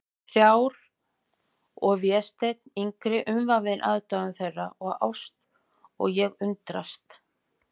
Þær þrjár og Vésteinn yngri umvafinn aðdáun þeirra og ást, og ég undrast.